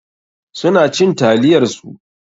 Su na cin taliyar su.